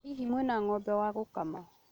Hihi mwĩna ng'ombe wa gũkama?